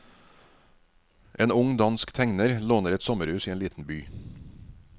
En ung dansk tegner låner et sommerhus i en liten by.